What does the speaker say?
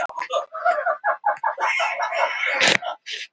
Loka þurfti tveimur akreinum vegna þessa